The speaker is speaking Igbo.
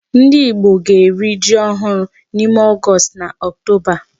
Ndị Igbo ga-eri ji ohụrụ n'ime August na October.